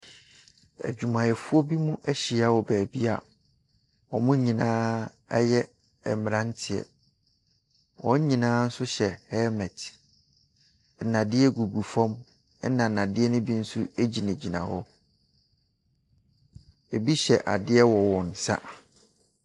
Adwumayɛfoɔ bi ahyia wɔ baabi a wɔn nyinaa yɛ mmeranteɛ. Wɔn nyinaa nso hyɛ helmet. Nnadeɛ gugu fam, ɛna nnadeɛ no bi nso gyinagyina hɔ. Ɛbi hyɛ adeɛ wɔ wɔn nsa.